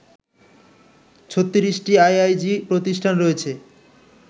৩৬টি IIG প্রতিষ্ঠান রয়েছে